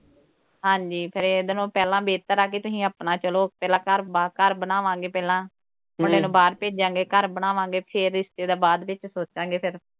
ਹਾਂਜੀ ਫਿਰ ਇਹਦੇ ਨਾਲੋਂ ਪਹਿਲਾਂ ਬਿਹਤਰ ਆ ਕਿ ਤੁਸੀਂ ਆਪਣਾ ਚਲੋ ਪਹਿਲਾਂ ਘਰ ਬਾਰ, ਘਰ ਬਣਾਵਾਂਗੇ ਪਹਿਲਾਂ, ਮੁੰਡੇ ਨੂੰ ਬਾਹਰ ਭੇਜਾਂਗੇ ਘਰ ਬਣਾਵਾਂਗੇ। ਫੇਰ ਰਿਸ਼ਤੇ ਦਾ ਬਾਅਦ ਵਿੱਚ ਸੋਚਾਂਗੇ ਫਿਰ।